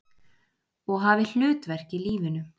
Og hafi hlutverk í lífinu.